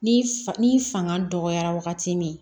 Ni fanga dɔgɔyara wagati min